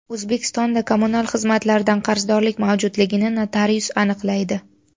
O‘zbekistonda kommunal xizmatlardan qarzdorlik mavjudligini notarius aniqlaydi.